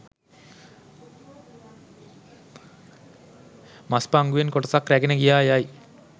මස් පංගුවෙන් කොටසක් රැගෙන ගියා යයි